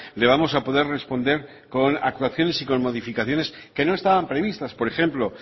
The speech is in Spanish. le vamos a poder responder con actuaciones y con modificaciones que no estaban previstas por ejemplo